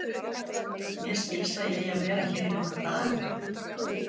Mér skilst að ég eigi að vera hér í nokkra daga.